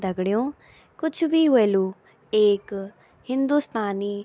दगडियों कुछ भी ह्वेलु एक हिन्दुस्तानी --